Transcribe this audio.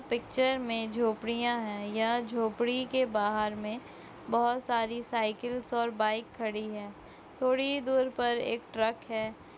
Picture में झोपड़ियां है या झोपड़ी के बाहर में बहुत सारी साइकिल्स और बाइक खड़ी है। थोड़ी दूर पर एक ट्रक है।